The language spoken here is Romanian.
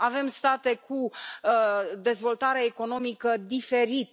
Avem state cu dezvoltare economică diferită.